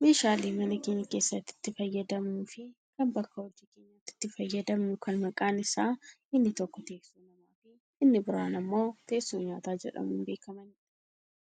Meeshaalee mana keenya keessatti itti fayyadamnuufi kan bakka hojii keenyaatti itti fayyadamnu kan maqaan isaanii inni tokko teessoo namafi inni biraan ammoo teessoo nyaataa jedhmuun beekkamanidha.